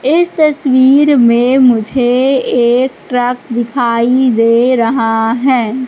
इस तस्वीर में मुझे एक ट्रक दिखाई दे रहा है।